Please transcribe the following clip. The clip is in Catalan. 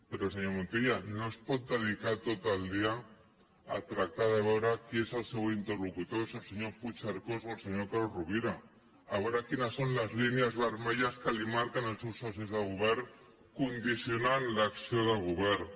però senyor montilla no es pot dedicar tot el dia a tractar de veure qui és el seu interlocutor si el senyor puigcercós o el senyor carod rovira a veure quines són les línies vermelles que li marquen els seus socis de govern condicionant l’acció del govern